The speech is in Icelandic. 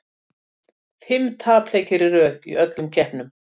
Fimm tapleikir í röð í öllum keppnum.